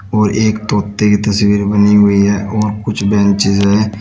और एक दो तीन तस्वीर बनी हुई है और कुछ बेंचस हैं।